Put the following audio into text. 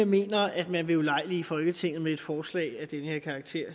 mener at man vil ulejlige folketinget med et forslag af den her karakter